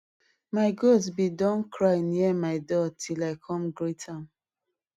my goat bin don cry near my door till i come greet am